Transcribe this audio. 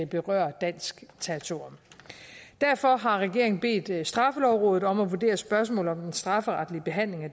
berøre dansk territorium derfor har regeringen bedt straffelovrådet om at vurdere spørgsmålet om den strafferetlige behandling af